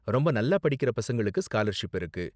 ரொம்ப நல்லா படிக்கற பசங்களுக்கு ஸ்காலர்ஷிப் இருக்கு.